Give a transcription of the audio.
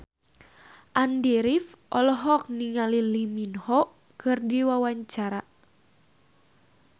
Andy rif olohok ningali Lee Min Ho keur diwawancara